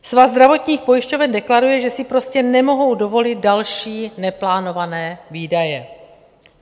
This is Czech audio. Svaz zdravotních pojišťoven deklaruje, že si prostě nemohou dovolit další neplánované výdaje.